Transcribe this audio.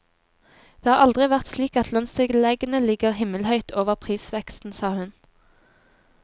Det har aldri vært slik at lønnstilleggene ligger himmelhøyt over prisveksten, sa hun.